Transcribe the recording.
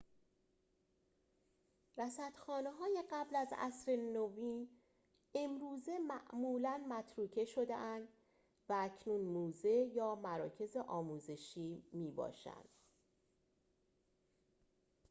رصدخانه‌های قبل از عصر نوین امروزه معمولاً متروکه شده‌اند و اکنون موزه یا مراکز آموزشی می‌باشند